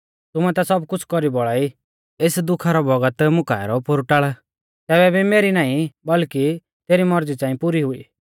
यीशुऐ बोलौ ओ बाब तुमै ता सब कुछ़ कौरी बोलाई एस दुखा रौ बौगत मुकाऐ रौ पोरु टाल़ तैबै भी मेरी नाईं बल्कि तेरी मौरज़ी च़ांई पुरी हुई